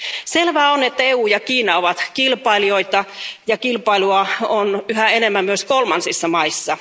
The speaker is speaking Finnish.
Selvää on, että EU ja Kiina ovat kilpailijoita ja kilpailua on yhä enemmän myös kolmansissa maissa.